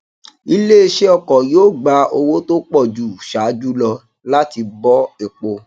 iléeṣé ọkọ yóò gbà owó tó pọ ju ṣáájú lọ láti bọ epo